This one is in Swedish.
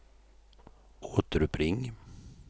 återuppring